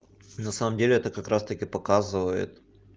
на самом деле это как раз таки показывает